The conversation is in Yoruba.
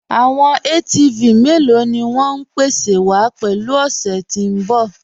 Àwọn ATV mẹ́lọ̀ ni wọn ń pèsè wa pẹ̀lú ọ̀ṣẹ́ tí n bọ̀?